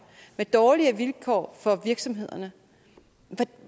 med dårligere vilkår for virksomhederne